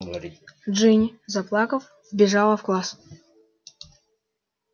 джинни заплакав вбежала в класс